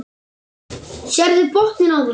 Sérðu botninn á þeim.